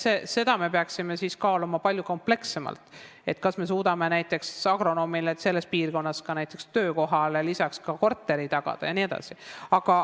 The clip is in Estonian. Siis me peaksime kaaluma palju komplekssemalt, kas me suudame näiteks agronoomile selles piirkonnas lisaks töökohale ka korteri tagada jne.